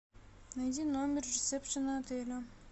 найди номер ресепшена отеля